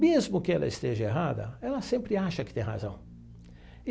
Mesmo que ela esteja errada, ela sempre acha que tem razão.